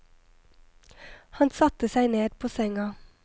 Han satte seg ned på senga.